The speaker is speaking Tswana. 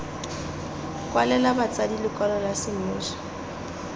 kwalela batsadi lekwalo la semmuso